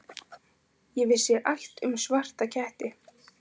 Ég vissi allt um svarta ketti.